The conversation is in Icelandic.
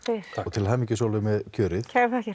til hamingju Sólveig með kjörið